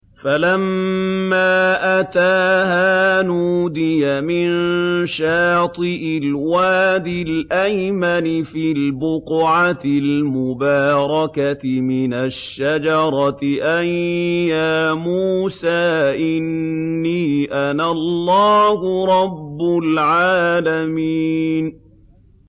فَلَمَّا أَتَاهَا نُودِيَ مِن شَاطِئِ الْوَادِ الْأَيْمَنِ فِي الْبُقْعَةِ الْمُبَارَكَةِ مِنَ الشَّجَرَةِ أَن يَا مُوسَىٰ إِنِّي أَنَا اللَّهُ رَبُّ الْعَالَمِينَ